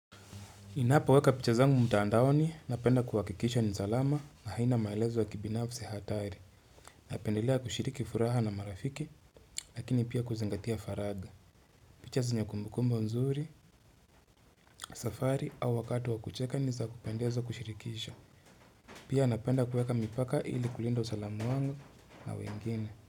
Ninapoweka picha zangu mtandaoni, napenda kuhakikisha ni salama na haina maelezo wa kibinafsi hatari. Napendelea kushiriki furaha na marafiki, lakini pia kuzingatia faraga. Picha zenye kumbukumbu nzuri, safari au wakati wa kucheka niza kupendezo kushirikisha. Pia napenda kuweka mipaka ili kulinda usalamu wangu na wengine.